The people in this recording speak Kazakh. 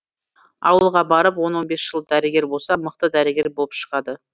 ауылға барып он он бес жыл дәрігер болса мықты дәрігер болып шығады